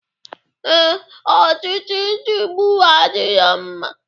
Ee, ọchịchị nchigbu adirọ mma.